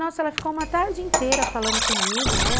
Nossa, ela ficou uma tarde inteira falando comigo, né?